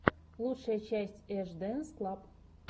лучшая часть эш дэнс клаб